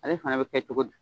A le fana bɛ kɛ cogo di.